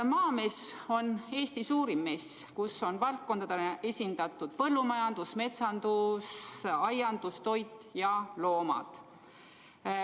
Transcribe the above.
Maamees on Eesti suurim mess, kus on valdkondadena esindatud põllumajandus, metsandus, aiandus, toit ja loomad.